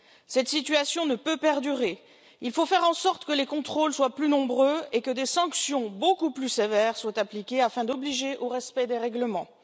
Cette situation ne peut perdurer, il faut faire en sorte que les contrôles soient plus nombreux et que des sanctions beaucoup plus sévères soient appliquées afin de contraindre au respect des règlements.